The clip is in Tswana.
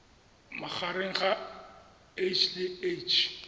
magareng ga h le h